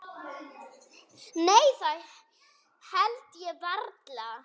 Nei það held ég varla.